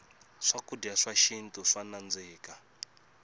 swakudya swa xintu swa nandzika